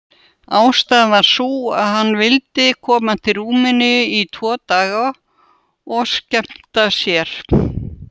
Ástæðan var sú að hann vildi koma til Rúmeníu í tvo daga og skemmta sér.